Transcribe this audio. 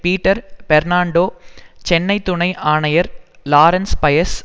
Peter Fernando Chennai துணை ஆணையர் Lawrence Paes